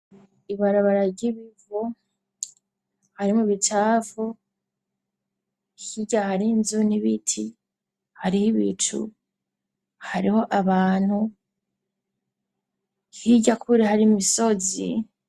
Ibarabara ry'ibivu harimwo imicafu hirya harinzu n'ibiti hariho ibicu hariho abantu Hirya kure hari misozi.